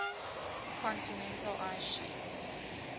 continental ice sheets